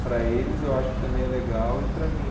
Para eles eu acho que também é legal e para mim.